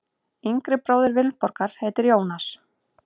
Yngri bróðir Vilborgar heitir Jónas.